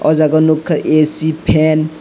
oh jaga o nukha ac fan.